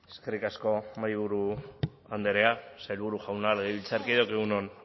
eskerrik asko mahaiburu andrea sailburu jauna legebiltzarkideok egun on